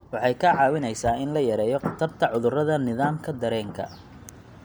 Waxay kaa caawinaysaa in la yareeyo khatarta cudurrada nidaamka dareenka.